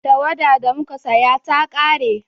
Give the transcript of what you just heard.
tawada da muka saya ta kare